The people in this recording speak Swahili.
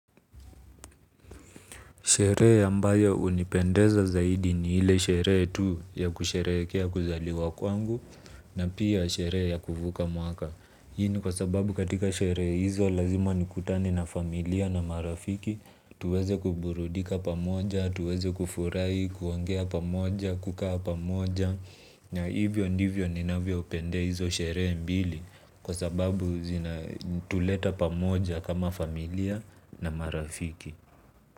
Sherehe ambayo hunipendeza zaidi ni ile sherehe tu ya kusherehekea kuzaliwa kwangu na pia sherehe ya kuvuka mwaka. Hii ni kwa sababu katika sherehe hizo lazima nikutane na familia na marafiki tuweze kuburudika pamoja na tuweze kufurahi kuongea pamoja kukaa pamoja na hivyo ndivyo ninavyo upendea hizo sherehe mbili kwa sababu zinatuleta pamoja kama familia na marafiki.